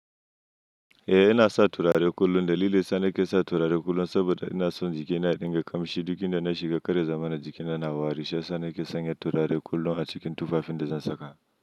Eh ina sa turare kullum, da lille yasa nake sa turare kullum saboda ina son jikina ya dinga kamshi duk inda na shiga. Kar ya zamana jikina na wari shi yasa nake sanya turare kullum a cikin tufafin da zan saka.